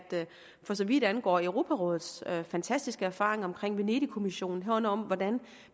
for så vidt angår europarådets fantastiske erfaringer i med venedigkonventionen herunder om hvordan